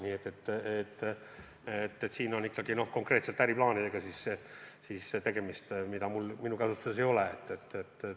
Nii et siin on ikkagi konkreetselt tegemist äriplaanidega, mida minu käsutuses ei ole.